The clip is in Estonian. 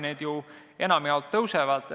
Need ju enamjaolt tõusevad.